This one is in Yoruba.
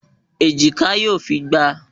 Èjìká yóò fi gba a